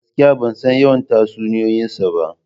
Gaskiya! Ban san yawan tayoyinsa ba.